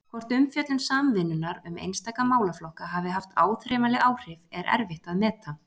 Hvort umfjöllun Samvinnunnar um einstaka málaflokka hafi haft áþreifanleg áhrif, er erfitt að meta.